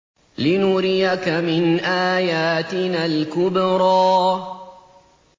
لِنُرِيَكَ مِنْ آيَاتِنَا الْكُبْرَى